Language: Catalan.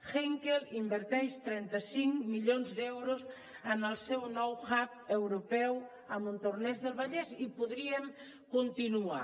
henkel inverteix trenta cinc milions d’euros en el seu nou hub europeu a montornès del vallès i podríem continuar